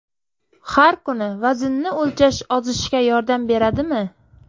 Har kuni vaznni o‘lchash ozishga yordam beradimi?.